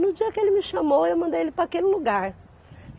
No dia que ele me chamou, eu mandei ele para aquele lugar.